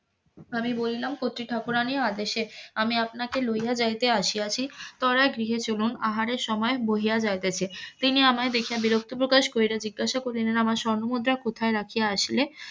আমি বললাম কচি ঠাকুরানীর আদেশে আমি আপনাকে লইয়া যাইতে আসিয়াছি তোরা গৃহে চলুন আহারের সময় বহিয়া যাইতেছে তিনি আমায় দেখিয়া বিরক্ত প্রকাশ কইরা জিজ্ঞাসা করিলেন আমার স্বর্ণমুদ্রা কোথায় রাখিয়া আসিলে?